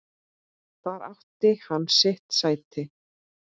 Þar átti hann sitt sæti.